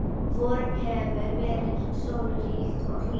Vorið hefur verið sólríkt og hlýtt.